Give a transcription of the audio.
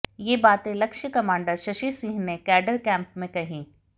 ये बाते लक्ष्य कमांडर शशि सिंह ने कैडर कैंप में कही